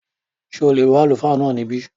Ṣé o lè bá Àlùfáà náà níbí?